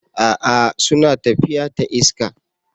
A'a! suna tafiya ta iska.